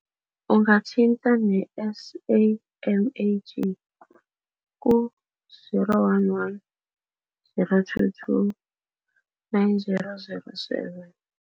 Ungathintana ne-SAMAG ku, zero one one zero two two nine zero zero seven.